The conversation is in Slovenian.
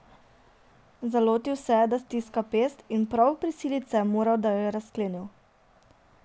Zalotil se je, da stiska pest, in prav prisiliti se je moral, da jo je razklenil.